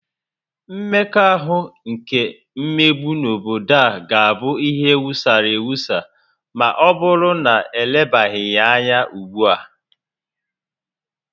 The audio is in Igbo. Mmekọahụ nke mmegbu n'obodo a ga-abụ ihe wusara ewusa ma ọbụrụ na elebaghị ya anya ugbua